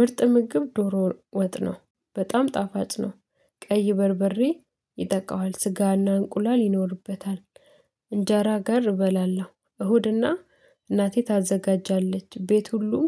ምርጥ ምግብ ዶሮ ወጥ ነው። በጣም ጣፋጭ ነው። ቀይ በርበሬ ይጠቃዋል። ስጋና እንቁላል ይኖርበታል። እንጀራ ጋር እበላለሁ። እሁድና እናቴ ታዘጋጃለች። ቤት ሁሉም